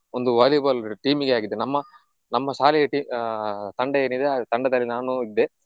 ಒಂದು Volleyball team ಗೆ ಹಾಕಿದ್ರು ನಮ್ಮ ನಮ್ಮ ಶಾಲೆಯ tea~ ಆಹ್ ತಂಡ ಏನಿದೆ ಆ ತಂಡದಲ್ಲಿ ನಾನು ಇದ್ದೆ.